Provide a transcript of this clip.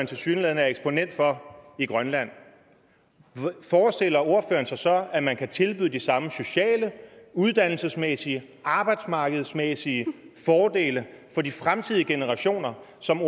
tilsyneladende er eksponent for i grønland så forestiller sig at man kan tilbyde de samme sociale uddannelsesmæssige arbejdsmarkedsmæssige fordele for de fremtidige generationer som